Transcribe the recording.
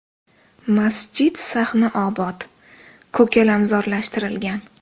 Masjid sahni obod, ko‘kalamzorlashtirilgan.